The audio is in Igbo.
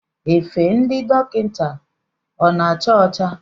Efe ndị dọkịta ọ na-acha ocha?